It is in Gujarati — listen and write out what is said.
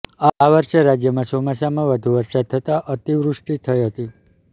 આ વર્ષે રાજ્યમાં ચોમાસામાં વધુ વરસાદ થતાં અતિવૃષ્ટી થઇ હતી